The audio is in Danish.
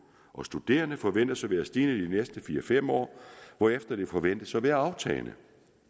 og studerende forventes at være stigende i de næste fire fem år hvorefter den forventes at være aftagende